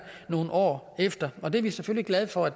nogle år efter og det er vi selvfølgelig glade for